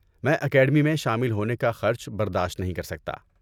میں اکیڈمی میں شامل ہونے کا خرچ برداشت نہیں کرسکتا۔